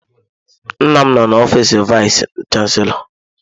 Nna m nọ n'ọfiis vayis chansilọ.